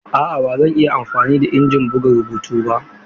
A'a ba zan iya amfani da injin buga rubutu ba.